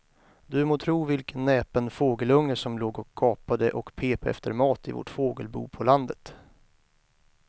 Du må tro vilken näpen fågelunge som låg och gapade och pep efter mat i vårt fågelbo på landet.